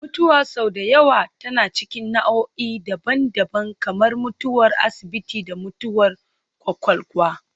Mutuwa sau da yawa tana cikin nau'o'i daban-daban, kamar mutuwar asibiti da mutuwar kwakwalwa